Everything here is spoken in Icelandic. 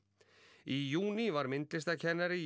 í júní var myndlistarkennari í